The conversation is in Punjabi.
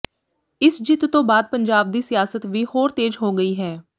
ਇਸ ਜਿੱਤ ਤੋਂ ਬਾਅਦ ਪੰਜਾਬ ਦੀ ਸਿਆਸਤ ਵੀ ਹੋਰ ਤੇਜ ਹੋ ਗਈ ਹੈ